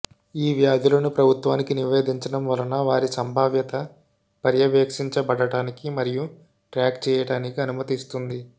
ఈ వ్యాధులను ప్రభుత్వానికి నివేదించడం వలన వారి సంభావ్యత పర్యవేక్షించబడటానికి మరియు ట్రాక్ చేయటానికి అనుమతిస్తుంది